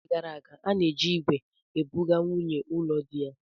N'oge gara aga, a na-eji ígwè ebuga nwunyi ụlọ diya.